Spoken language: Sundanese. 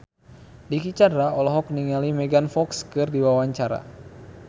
Dicky Chandra olohok ningali Megan Fox keur diwawancara